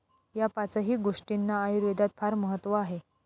या पाचही गोष्टींना आयुर्वेदात फार महत्व आहे.